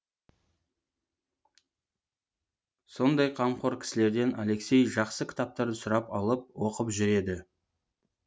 сондай қамқор кісілерден алексей жақсы кітаптарды сұрап алып оқып жүреді